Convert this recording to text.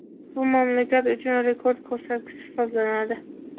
Bu mamlakat uchun rekord ko‘rsatkich hisoblanadi.